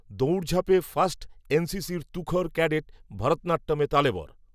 দৌড়ঝাঁপে first N C সির তুখোড় cadet ভারতনাট্যমে তালেবর